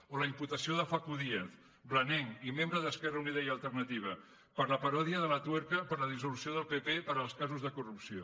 o la imputació de facu díaz blanenc i membre d’esquerra unida i alternativa per la paròdia de la tuerka de la dissolució del pp pels casos de corrupció